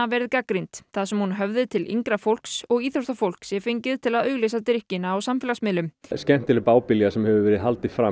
verið gagnrýnd þar sem hún höfði til yngra fólks og íþróttafólk sé fengið til að auglýsa drykkina á samfélagsmiðlum skemmtileg bábilja sem hefur verið haldið fram